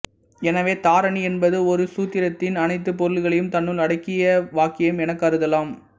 எனவே தாரணி என்பது ஒரு சூத்திரத்தின் அனைத்து பொருள்களையும் தன்னுள் அடக்கிய வாக்கியம் எனக் கருதலாம்